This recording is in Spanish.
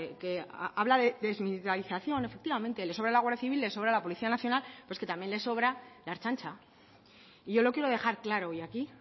que habla de desmilitarización efectivamente le sobra la guardia civil le sobra la policía nacional pero es que también le sobra la ertzaintza y yo lo quiero dejar claro hoy aquí